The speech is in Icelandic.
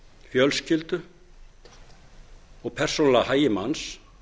fjölskyldu og persónulega hagi manns